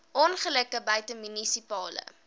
ongelukke buite munisipale